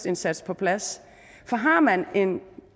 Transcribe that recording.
indsats på plads for har man en